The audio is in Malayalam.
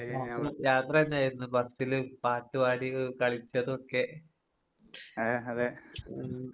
രാത്രി യാത്രയിണ്ടായിരുന്നു ബസ്സില് പാട്ട് പാടി എഹ് കളിച്ചതൊക്കെ. ഉം.